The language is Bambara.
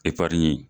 Epariɲi